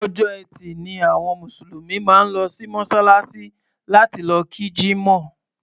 Ọjọ́ Ẹtì ni àwọn Mùsùlùmí máa ń lọ sí Mọ́ṣáláṣí láti kí Jímọ̀.